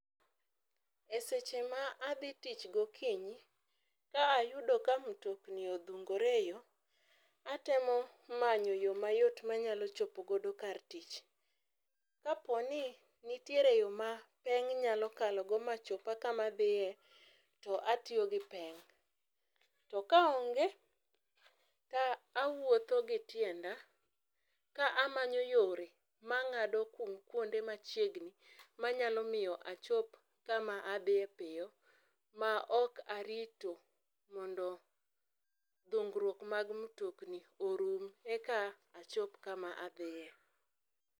Eseche ma adhi tich gokinyi, ka ayudo ka mtokni odhungore e yoo atemo manyo yoo mayot manyalo chopo godo kar tich, Kaponi nitiere yoo ma peng nyalo kalogo machopa kama adhiye to atiyo gi peng to ka onge to awuotho gi tienda ka amanyo yore mangado kuonde machiegni manyalo miyo achop kama adhie piyo maok arito mondo dhungruok mag mtokni orum eka achop kama adhie